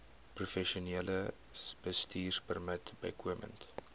professionele bestuurpermit bykomend